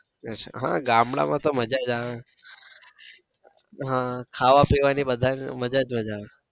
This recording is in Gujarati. હમ ગામડા માં તો મજા જ આવે ને હમ ખાવા પીવા ની બધા ને મજા જ મજા આવે.